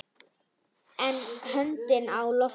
Önnur höndin á lofti.